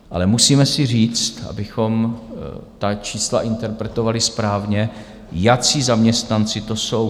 Ale musíme si říct, abychom ta čísla interpretovali správně, jací zaměstnanci to jsou.